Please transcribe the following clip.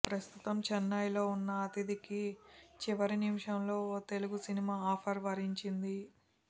ప్రస్తుతం చెన్నైలో ఉన్న అదితికి చివరి నిమిషంలో ఓ తెలుగు సినిమా ఆఫర్ వరించింది